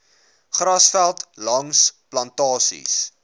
grasveld langs plantasies